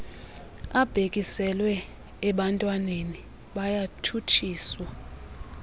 abhekiselwe ebantwananeni bayatshutshiswa